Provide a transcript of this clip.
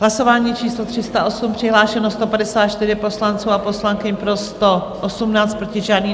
Hlasování číslo 308, přihlášeno 154 poslanců a poslankyň, pro 118, proti žádný.